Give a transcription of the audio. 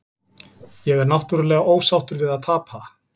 Ég er náttúrulega ósáttur við að tapa.